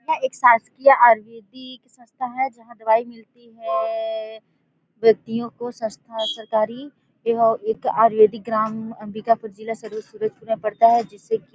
यह एक शासकीय आयुर्वैदिक संस्था है जहाँ दवाई मिलती है व्यक्तियों को संस्था सरकारी यह एक आयुर्वैदिक ग्राम अम्बिकापुर जिला सरगुजा पड़ता है जिसेकी--